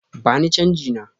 Bani chanji na!